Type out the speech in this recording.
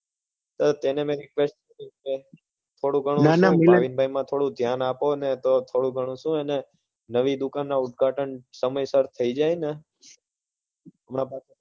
તે મને થોડું ભાવિનભાઈ માં થોડું ધ્યાન આપો અને તો શું થોડું ઘણું એને નવી દુકાન ના ઉદ્ઘાટન સમયસર થઇ જાય ને હમણાં તો